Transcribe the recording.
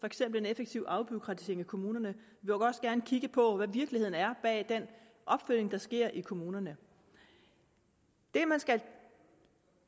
eksempel en effektiv afbureaukratisering af kommunerne og vil også gerne kigge på hvad virkeligheden er bag den opfølgning der sker i kommunerne det man